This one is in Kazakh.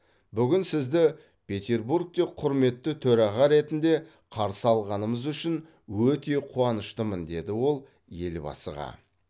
бүгін сізді петербургте құрметті төраға ретінде қарсы алғанымыз үшін өте қуаныштымын деді ол елбасыға